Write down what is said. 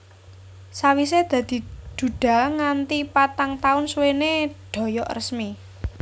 Sawisé dadi duda nganti patang taun suwené Doyok resmi